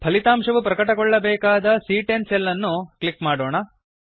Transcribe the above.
ಫಲಿತಾಂಶವು ಪ್ರಕಟಗೊಳ್ಳಬೇಕಾದ ಸಿಎ10 ಸೆಲ್ ಅನ್ನು ಕ್ಲಿಕ್ ಮಾಡೋಣ